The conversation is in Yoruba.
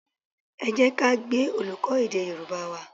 Ẹ jẹ́ ká gbe olùkọ́ èdè Yorùbá wa